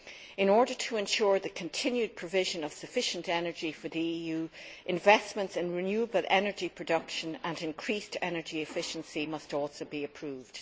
In order to ensure the continued provision of sufficient energy for the EU, investments in renewable energy production and increased energy efficiency must also be approved.